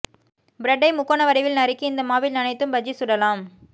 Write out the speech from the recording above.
பிரெட்டை முக்கோண வடிவில் நறுக்கி இந்த மாவில் நனைத்தும் பஜ்ஜி சுடலாம்